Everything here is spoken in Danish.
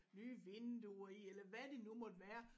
Nye vinduer i eller hvad det nu måtte være